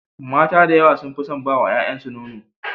Mata da yawa sun fi son ba wa yayansu nono.